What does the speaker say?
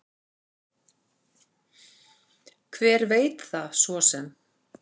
Hver veit það svo sem.